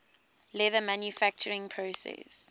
leather manufacturing process